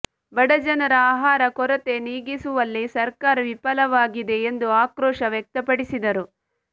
ಬಡಜನರ ಆಹಾರ ಕೊರತೆ ನೀಗಿಸುವಲ್ಲಿ ಸರ್ಕಾರ ವಿಫಲವಾಗಿದೆ ಎಂದು ಆಕ್ರೋಶ ವ್ಯಕ್ತಪಡಿಸಿದರು